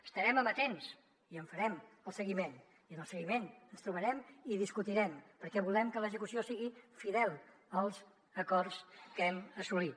estarem amatents i en farem el seguiment i en el seguiment ens trobarem i discutirem perquè volem que l’execució sigui fidel als acords que hem assolit